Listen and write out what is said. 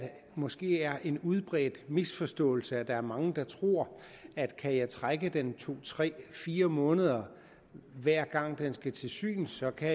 måske er en udbredt misforståelse at der er mange der tror at kan de trække den to tre fire måneder hver gang bilen skal til syn så kan